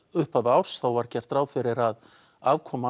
upphafi árs var gert ráð fyrir afkomu